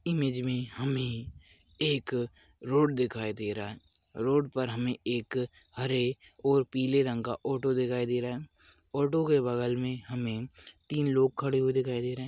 Image मे हमे एक रोड दिखाई दे रहा है रोड पर हमे एक हरे और पीले रंग का ऑटो दिखाई दे रहा है ऑटो के बगल मे हमे तीन लोग खड़े हुए दिखाई दे रहे है।